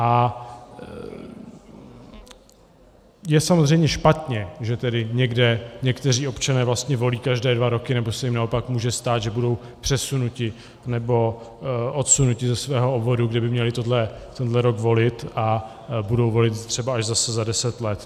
A je samozřejmě špatně, že tedy někde někteří občané vlastně volí každé dva roky, nebo se jim naopak může stát, že budou přesunuti nebo odsunuti ze svého obvodu, kde by měli tenhle rok volit, a budou volit třeba až zase za deset let.